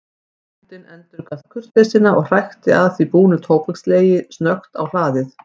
Bóndinn endurgalt kurteisina og hrækti að því búnu tóbakslegi snöggt á hlaðið.